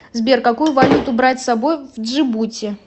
сбер какую валюту брать с собой в джибути